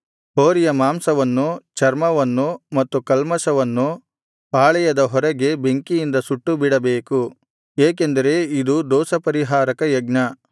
ಹೋರಿಯ ಮಾಂಸವನ್ನು ಚರ್ಮವನ್ನು ಮತ್ತು ಕಲ್ಮಷವನ್ನು ಪಾಳೆಯದ ಹೊರಗೆ ಬೆಂಕಿಯಿಂದ ಸುಟ್ಟುಬಿಡಬೇಕು ಏಕೆಂದರೆ ಇದು ದೋಷಪರಿಹಾರಕ ಯಜ್ಞ